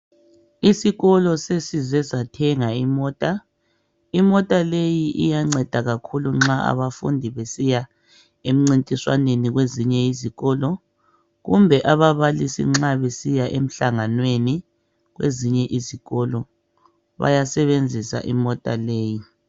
Isikolo sesize sathenga imota, imota leyi iyanceda kakhulu nxa abafundi besiya emncintiswaneni kwezinye izikolo kumbe ababalisi nxa besiya emhlanganweni kwezinye izikolo bayasebenzisa imota leyi.